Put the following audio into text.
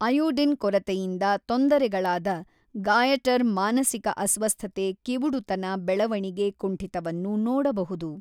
Iodine ಕೊರತೆಯಿಂದ ತೊಂದರೆಗಳಾದ goitre ಮಾನಸಿಕ ಅಸ್ವಸ್ಥತೆ ಕಿವುಡುತನ ಬೆಳವಣಿಗೆ ಕುಂಠಿತವನ್ನು ನೋಡಬಹುದು.